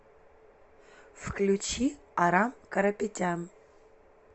включи арам карапетян